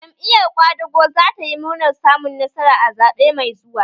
Jam'iyar ƙwadago za ta yi murnar samun nasara a zaɓe mai zuwa